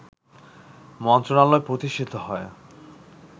মন্ত্রণালয় প্রতিষ্ঠিত হয়